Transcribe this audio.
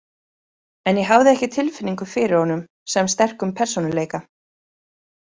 En ég hafði ekki tilfinningu fyrir honum sem sterkum persónuleika.